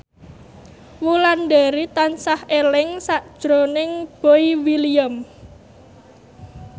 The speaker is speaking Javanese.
Wulandari tansah eling sakjroning Boy William